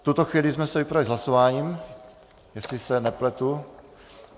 V tuto chvíli jsme se vypořádali s hlasováním, jestli se nepletu.